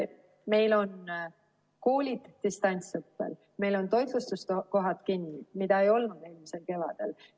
Meil on koolid distantsõppel, meil on toitlustuskohad kinni, mida ei olnud eelmisel kevadel.